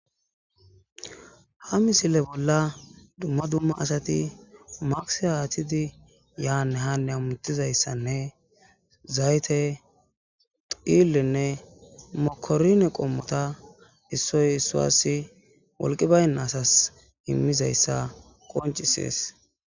Ha misile bolla do duma duma asati mata yane hane hamutizaysan zayte dhilene mokorine qomoya issoy issasi wolqay Banda asasi imetizaysa besses